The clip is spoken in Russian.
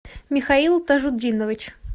михаил тажутдинович